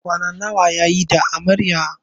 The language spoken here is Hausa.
Kwana nawa yayi da Amaryar?